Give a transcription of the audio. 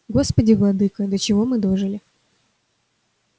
господи владыко до чего мы дожили